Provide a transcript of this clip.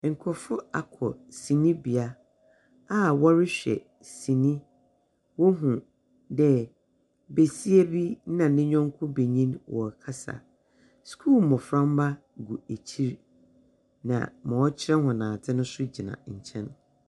Nkrɔfoɔ akɔ sinibea a wɔrehwɛ sini. Wohu dɛ besia na ne yɔnko benyin wɔrekasa. Sukuu mboframba gu akyir. Na ma ɔkyerɛ wɔn adze nso gyina nkyɛn.